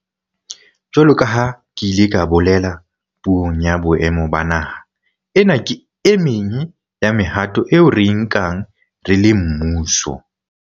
Jwalo ka ha ke ile ka bolela Puong ya Boemo ba Naha, ena ke e meng ya mehato eo re e nkang re le mmuso